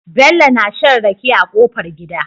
Bello na shan rake a kofar gida